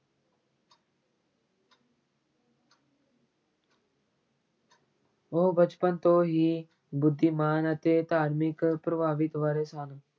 ਉਹ ਬਚਪਨ ਤੋਂ ਹੀ ਬੁੱਧੀਮਾਨ ਅਤੇ ਧਾਰਮਿਕ ਪ੍ਰਭਾਵਿਤ ਵਾਲੇ ਸਨ।